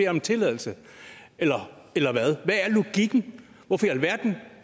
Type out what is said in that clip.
om en tilladelse eller eller hvad hvad er logikken hvorfor i alverden